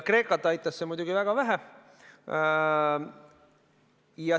Kreekat aitas see muidugi väga vähe.